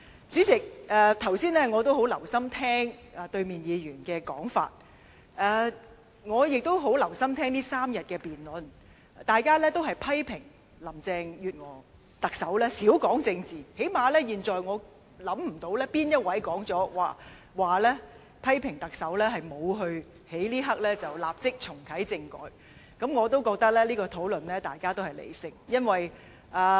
主席，我剛才十分留心聆聽反對派議員的發言，也十分留心聆聽這3天辯論期間，大家均批評特首林鄭月娥少談政治，但最少我現在想不到有哪位議員批評特首沒有在這一刻立即重啟政改，因為，我也認為大家的討論是理性的。